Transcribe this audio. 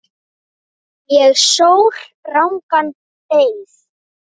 Ég sór rangan eið.